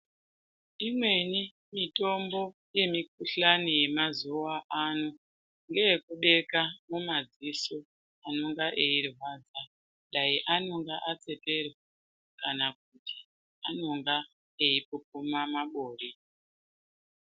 Imweni mitombo yemukuhlani yemazuwa ano ngeye kubeka mumadziso anonga eirwadza dai anonga atseperwa kana kuti anonga eipupuma mabori.